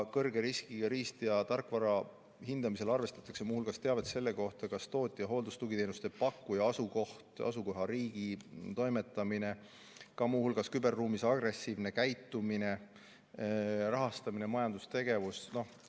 Kõrge riskiga riist- ja tarkvara hindamisel arvestatakse muu hulgas teavet tootja ning hooldus- ja tugiteenuste pakkuja asukoha, asukohariigi toimetamise, muu hulgas ka küberruumis agressiivse käitumise, rahastamise ja majandustegevuse kohta.